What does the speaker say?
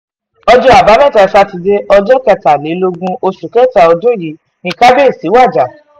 ọjọ́ àbámẹ́ta sátidé ọjọ́ kẹtàlélógún oṣù kẹta ọdún yìí ni kábíyèsí wajà